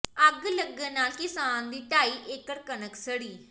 ਅੱਗ ਲੱਗਣ ਨਾਲ ਕਿਸਾਨ ਦੀ ਢਾਈ ਏਕੜ ਕਣਕ ਸੜੀ